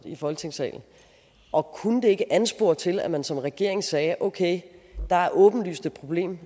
i folketingssalen og kunne det ikke anspore til at man som regering sagde okay der er åbenlyst et problem